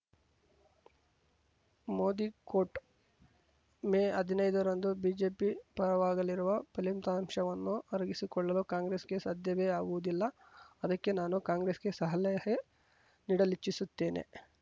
Modi quote May ಹದಿನೈದರಂದು BJP ಪರವಾಗಲಿರುವ ಫಲಿತಾಂಶವನ್ನು ಅರಗಿಸಿಕೊಳ್ಳಲು ಕಾಂಗ್ರೆಸ್‌ಗೆ ಸಾಧ್ಯವೇ ಆಗುವದಿಲ್ಲಅದಕ್ಕೇ ನಾನು ಕಾಂಗ್ರೆಸ್‌ಗೆ ಸಲಹೆ ನೀಡಲಿಚ್ಛಿಸುತ್ತೇನೆ